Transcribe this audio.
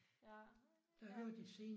Ja. Jeg